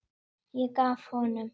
Ég gef honum